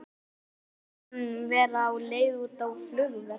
Mér sýnist hann vera á leið út á flugvöll.